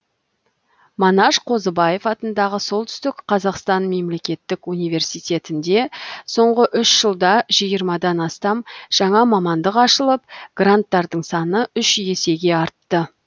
манаш қозыбаев атындағы солтүстік қазақстан мемлекеттік университетінде соңғы үш жылда жиырмадан астам жаңа мамандық ашылып гранттардың саны үш есеге артты